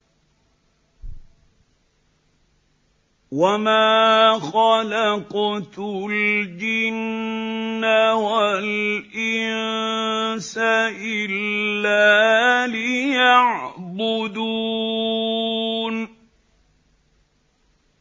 وَمَا خَلَقْتُ الْجِنَّ وَالْإِنسَ إِلَّا لِيَعْبُدُونِ